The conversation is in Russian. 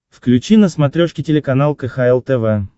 включи на смотрешке телеканал кхл тв